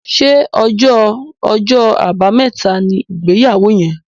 Ṣe ọjọ Ọjọ́ Àbàmẹ́ta ní ìgbéyàwó yén?